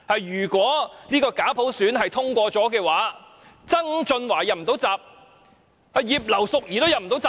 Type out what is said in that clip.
"如果假普選方案通過了，不止曾俊華"入不到閘"，葉劉淑儀議員也"入不到閘"。